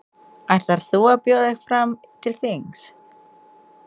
Ætlar þú að bjóða þig fram til þings?